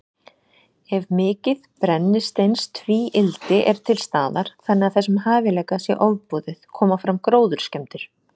Ef mikið brennisteinstvíildi er til staðar, þannig að þessum hæfileika sé ofboðið, koma fram gróðurskemmdir.